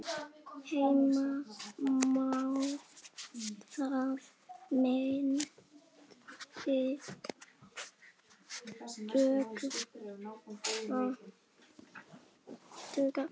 Heimir Már: Það myndi duga?